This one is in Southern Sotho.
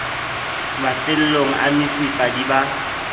mafellong a mesifa di ba